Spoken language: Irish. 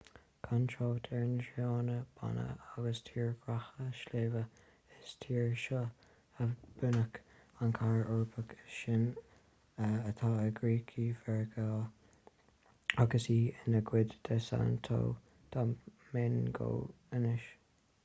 gan trácht ar na tránna bána agus tírdhreacha sléibhe is sa tír seo a bunaíodh an chathair eorpach is sine atá i gcríocha mheiriceá agus í ina cuid de santo domingo anois